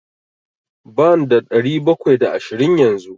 Banda ɗari bakwai da ashirin yanzu.